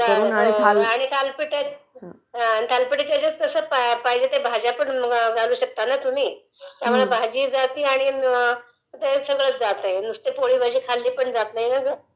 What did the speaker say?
Voice overlapping थालपिठाच्या ह्याच्यात कसं पाहिजे त्या भाज्यापण घालू शकता ना तुम्ही त्यामुळे भाजीही जातेय आणि सगळंच जातयं ...नुसती पोळी भाजी खाली पण जात नाही ना ग